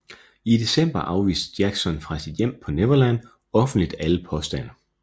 I december afviste Jackson fra sit hjem på Neverland offentligt alle påstande